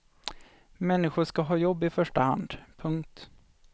Människor ska ha jobb i första hand. punkt